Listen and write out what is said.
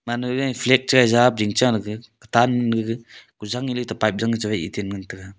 anagey flag che japring cha kutan nega kujang eley ta pipe jang chewaih eten ngan taiga.